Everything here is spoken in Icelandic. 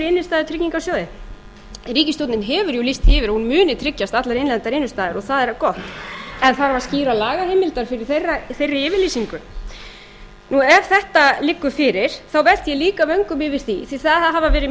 innstæðu í tryggingasjóði ríkisstjórnin hefur jú lýst því yfir að hún muni tryggja allar innlendar innistæður og það er gott en þarf skýra lagaheimild fyrir þeirri yfirlýsingu ef þetta liggur fyrir þá velti ég líka vöngum yfir því því það hafa verið